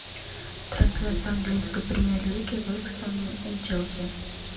трансляция английской премьер лиги вест хэм и челси